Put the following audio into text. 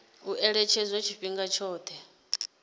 u ṅetshedzwa tshifhinga tshoṱhe tsho